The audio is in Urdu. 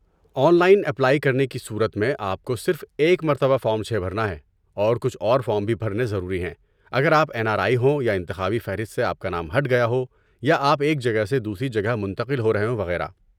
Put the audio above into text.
آن لائن اپلائی کرنے کی صورت میں آپ کو صرف ایک مرتبہ فارم چھے بھرنا ہے اور کچھ اور بھی فارم بھرنے ضروری ہیں اگر آپ این آر آئی ہوں یا انتخابی فہرست سے آپ کا نام ہٹ گیا ہو یا آپ ایک جگہ سے دوسری جگہ منتقل ہو رہے ہوں وغیرہ